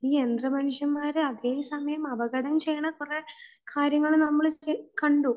ഈ യന്ത്ര മനുഷ്യന്മാർ അതേസമയം അപകടം ചെയ്യുന്ന കുറെ കാര്യങ്ങൾ നമ്മൾ കണ്ടു